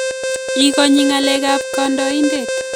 Ikonye ngalek kap kodoin'det